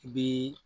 I bi